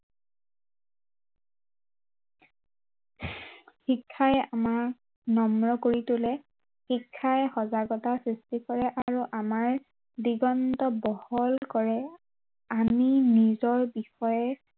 শিক্ষাই আমাক নম্ৰ কৰি তোলে শিক্ষাই সজাগতা সৃষ্টি কৰে আৰু আমাৰ দিগন্ত বহল কৰে আমি নিজৰ বিষয়ে